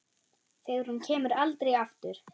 Þegar hún kemur aldrei aftur.